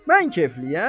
Mən keyfliyəm?